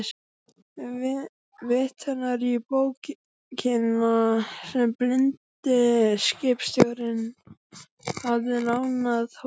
Vitnar í bókina sem blindi skipstjórinn hafði lánað honum.